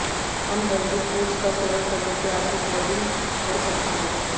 unhealthy foods का सेवन करने से आपकी क्रेविंग बढ़ सकती है